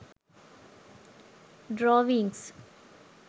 drawings